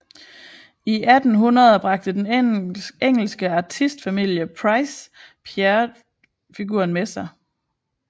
I 1800 bragte den engelske artistfamilie Price Pjerrotfiguren med sig